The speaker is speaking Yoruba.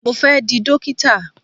Mo fẹ́ di Dókítà.